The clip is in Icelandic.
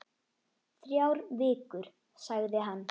Þrjár vikur, sagði hann.